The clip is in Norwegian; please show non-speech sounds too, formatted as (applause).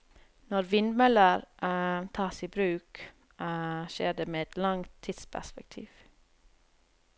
Når vindmøller (hesitation) tas i bruk, (hesitation) skjer det med et langt tidsperspektiv.